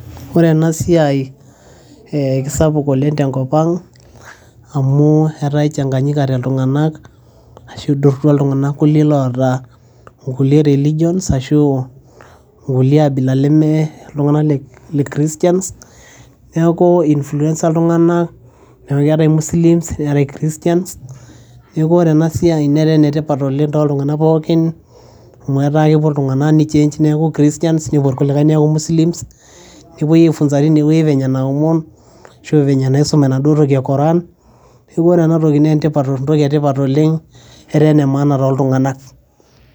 Ore ena siai kesapuk oleng' tenkopang, amu etaa ichaganyikate iltunganak arashu iduruata kulie tunganak oota ingulie religions Arashu ingulie abila leme iltunganak le christians neeku influence iltunganak neeku keetai christians neetai Muslims neeku ore ena siai netaa enetipat oleng' too tunganak pookin amu etaa kepuo iltunganak nichange neeku christian kulikae Muslims nepoi aifunza penye naomon arashu penye naisuma enaduo e Quran neeku ore ena toki naa entoki etipata oleng' etaa enemaana too tunganak.